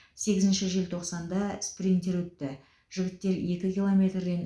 сегізінші желтоқсанда спринтер өтті жігіттер екі километрден